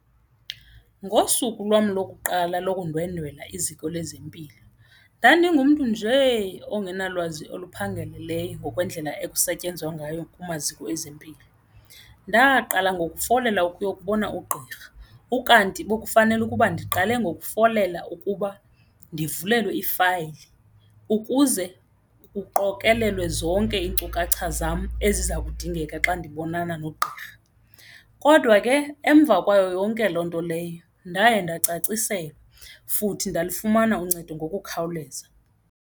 Ngosuku lwam lokuqala lokundwendwela iziko lezempilo ndandingumntu njee ongenalwazi oluphangaleleyo ngokwendlela ekusetyenzwa ngayo kumaziko ezempilo. Ndaqala ngoku kufolela ukuyobona ugqirha ukanti bekufanele ukuba ndiqale ngokufolela ukuba ndivulelwe ifayili ukuze kuqokelelwe zonke iinkcukacha zam eziza kudingeka xa ndibonana nogqirha, kodwa ke emva kwayo yonke loo nto leyo ndaye ndacaciselwa futhi ndalufumana uncedo ngokukhawuleza.